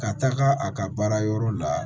Ka taga a ka baarayɔrɔ la